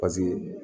Paseke